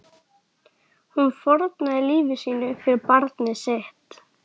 Hún fórnaði lífi sínu fyrir barnið sitt.